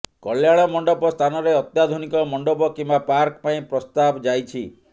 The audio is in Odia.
କଲ୍ୟାଣ ମଣ୍ଡପ ସ୍ଥାନରେ ଅତ୍ୟାଧୁନିକ ମଣ୍ଡପ କିମ୍ବା ପାର୍କ ପାଇଁ ପ୍ରସ୍ତାବ ଯାଇଛି